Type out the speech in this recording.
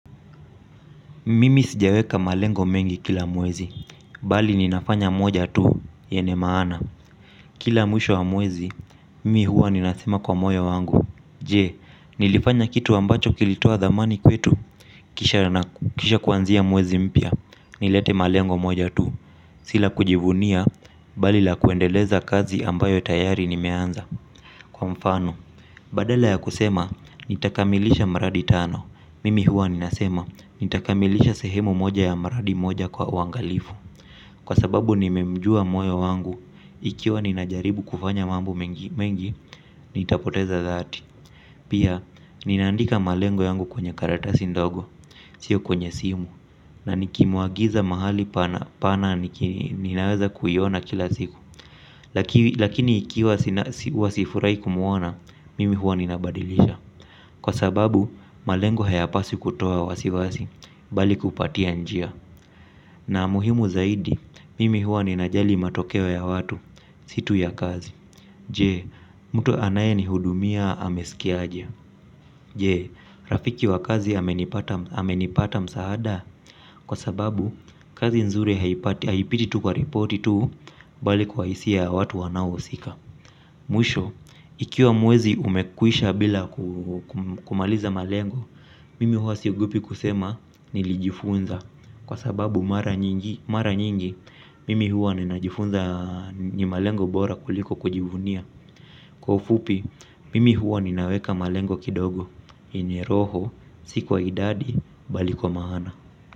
Mimi sijaweka malengo mengi kile mwezi bali ninafanya moja tu yenye maana kila mwisho wa mwezi mimi huwa ninasema kwa moyo wangu. Je, nilifanya kitu ambacho kilitoa dhamani kwetu, kisha kuanzia mwezi mpia nilete malengo moja tu, sila kujivunia, bali la kuendeleza kazi ambayo tayari nimeanza. Kwa mfano, badala ya kusema, nitakamilisha maradi tano. Mimi huwa ninasema, nitakamilisha sehemu moja ya maradi moja kwa wangalifu. Kwa sababu nimemjua moyo wangu, ikiwa ninajaribu kufanya mambo mengi, nitapoteza dhati. Pia, ninaandika malengo yangu kwenye karatasi ndogo, sio kwenye simu. Na nikimuagiza mahali pana ninaweza kuiona kila siku. Lakini ikiwa sifurai kumuona, mimi huwa ninaabadilisha. Kwa sababu, malengo hayapasi kutoa wasiwasi, bali kupatia njia na muhimu zaidi mimi huwa ninajali matokeo ya watu si tu ya kazi. Jee, mtu anaye ni hudumia hamesikiaje. Jee, rafiki wa kazi hamenipata msaada. Kwa sababu, kazi nzuri haipiti tu kwa ripoti tu, bali kwa isi ya watu wanao sika. Muisho, ikiwa muwezi umekuisha bila kumaliza malengo, mimi huwa siogopi kusema nilijifunza. Kwa sababu mara nyingi, mimi huwa ninajifunza ni malengo bora kuliko kujivunia. Kwa ufupi, mimi huwa ninaweka malengo kidogo, yenye roho, sikuwa idadi, balikwa maana.